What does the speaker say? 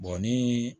ni